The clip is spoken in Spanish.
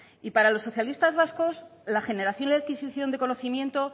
y para los socialistas vascos la generación y la adquisición de conocimiento